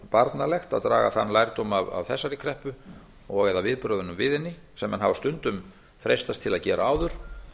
barnalegt að draga þann lærdóm af þessari kreppu og eða viðbrögðunum við henni sem menn hafa stundum freistast til að gera áður